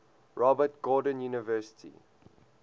robert gordon university